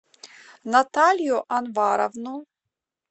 наталью анваровну